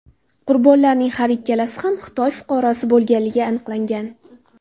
Qurbonlarning har ikkalasi ham Xitoy fuqarosi bo‘lganligi aniqlangan.